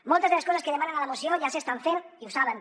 moltes de les coses que demanen a la moció ja s’estan fent i ho saben